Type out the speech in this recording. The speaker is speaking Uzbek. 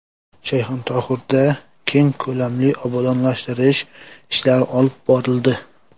Shayxontohurda keng ko‘lamli obodonlashtirish ishlari olib borildi.